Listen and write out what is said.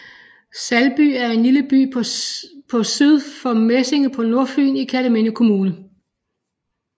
Salby er en lille by på syd for Mesinge på Nordfyn i Kerteminde Kommune